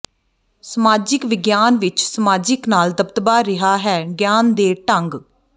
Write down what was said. ਸਮਾਜਿਕ ਵਿਗਿਆਨ ਵਿੱਚ ਸਮਾਜਿਕ ਨਾਲ ਦਬਦਬਾ ਰਿਹਾ ਹੈ ਗਿਆਨ ਦੇ ਢੰਗ